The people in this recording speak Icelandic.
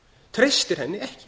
treystir henni ekki